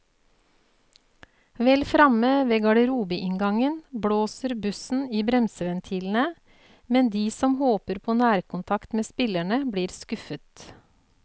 Vel fremme ved garderobeinngangen blåser bussen i bremseventilene, men de som håper på nærkontakt med spillerne, blir skuffet.